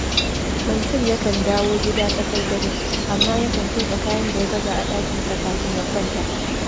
Mansur yakan dawo gida tsakar dare, amma yakan kintsa kayan da ya baza a ɗakinsa kafin ya kwanta